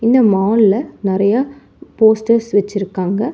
இந்த மால் ல நெறைய போஸ்டர்ஸ் வெச்சுருக்காங்க.